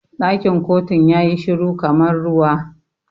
Ɗakin kotun yayi shiru kamar ruwa.